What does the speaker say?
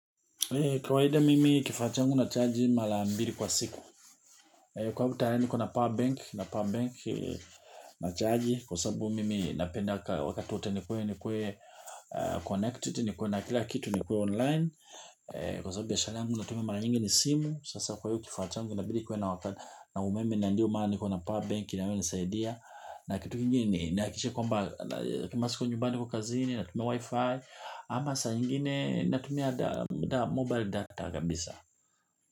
Kawaida mimi kifaa changu na charge mala mbili kwa siku. Kwa hivyo tayari niko na power bank na power bank na charge. Kwa sababu mimi napenda wakati wote ni kuwe ni kuwe connected ni kuwe na kila kitu ni kuwe online. Kwa sababu biashara yangu natumia mara nyingi ni simu. Sasa kwa hiyo kifaa changu inabidi kwa na wakati na umeme na ndio maana niko na power bank inayonisaidia. Na kitu kingine ni na hakikisha kwamba kama siko nyumbani niko kazini. Natumia wi-fi ama saa ingine natumia da mobile data kabisa.